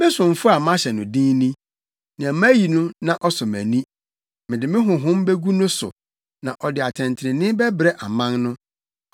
“Me somfo a mahyɛ no den ni, nea mayi no na ɔsɔ mʼani; mede me Honhom begu no so na ɔde atɛntrenee bɛbrɛ aman no.